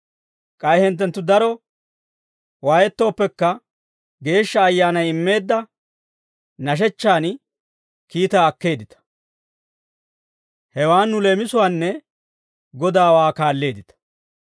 K'ay hinttenttu daro waayettooppekka, Geeshsha Ayyaanay immeedda nashechchaan kiitaa akkeeddita; hewan nu leemisuwaanne Godaawaa kaalleeddita.